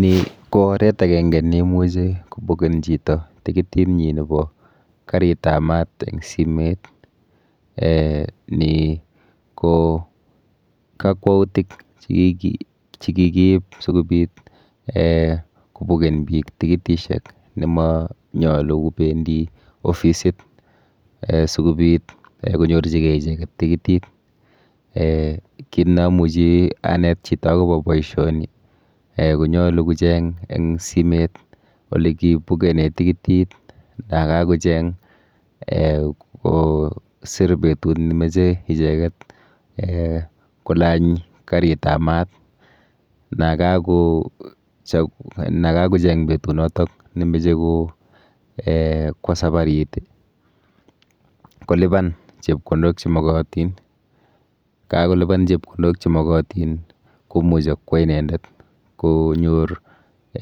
Ni ko oret akenke neimuchi kopuken chito tikitinyi nepo karitap mat eng simet um ni ko kakwoutik chekikiip sikobit um kopuken biik tikitishek nemanyolu kopendi ofisit um sikobit um konyorchikei icheket tikitit. um Kit neamuchi anet chito akopo boishoni um konyolu kocheng eng simet olekipukene tikitit nakakocheng um kosir betut nimeche icheket um kolany karitap mat, nakakocheng betunoto nemoche ko[um] kwo safarit, kolipan chepkondok chemokotin. Kakolipan chepkondok chemokotin, komuchi kwo inendet konyor